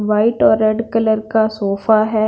White और red colour का sofa हैं।